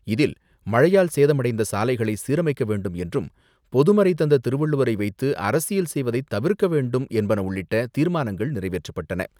இதில் மழையால் சேதமடைந்த சாலைகளை சீரமைக்க வேண்டும் என்றும் பொதுமறை தந்த திருவள்ளுவரை வைத்து அரசியல் செய்வதை தவிர்க்க வேண்டும் என்பன உள்ளிட்ட தீர்மானங்கள் நிறைவேற்றப்பட்டன.